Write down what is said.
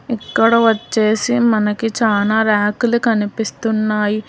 ఇక్కడ వచ్చేసి మనకి చానా ర్యకులు కనిపిస్తున్నాయి.